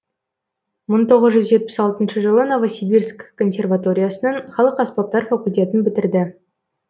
мың тоғыз жүз жетпіс екінші жылы новосибирск консерваториясының халық аспаптар факультетін бітірді